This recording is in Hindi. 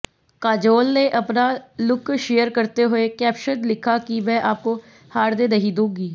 काजोल ने अपना लुक शेयर करते हुए कैप्शन लिखा मैं आपको हारने नहीं दूंगी